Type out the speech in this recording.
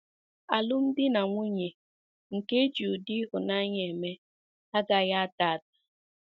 Alụmdi na nwunye nke e ji ụdị ịhụnanya eme, agaghị ada ada.